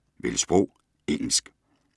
Vælg sprog: engelsk